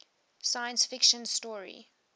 science fiction story